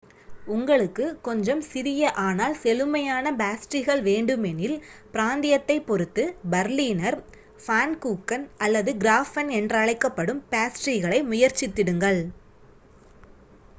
உங்களுக்கு கொஞ்சம் சிறிய ஆனால் செழுமையான பேஸ்ட்ரீகள் வேண்டுமெனில் பிராந்தியத்தைப் பொறுத்து பர்லீனர் ஃபான்கூக்கன் அல்லது கிராஃபென் என்றழைக்கப்படும் பேஸ்ட்ரீகளை முயற்சித்திடுங்கள்